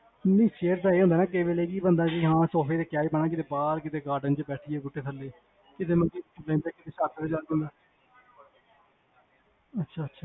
ਨੀ chair ਦਾ ਇਹ ਹੁੰਦਾ ਨਾ ਕੀ ਕਈ ਵਾਰੀ ਸੋਫੇ ਤੇ ਕਯਾ ਹੀ ਬੇਨਾ ਕਿਥੇ ਬਾਹਰ ਕਿਥੇ ਗਾਰਡਨ ਚ ਬੈਠੀਏ ਬੁੱਟੇ ਥੱਲੇ, ਕਿਥੇ ਮੰਜੀ ਤੇ ਬੇਨਦਾ ਘਰ ਲਗੇ